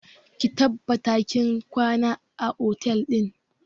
Ki tabbata kin kwana a otel ɗin!